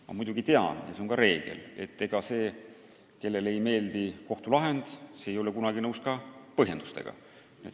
Ma muidugi tean – see on reegel –, et see, kellele ei meeldi kohtulahend, ei ole kunagi nõus ka põhjendustega.